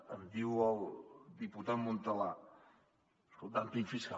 em diu el diputat montalà és que el dúmping fiscal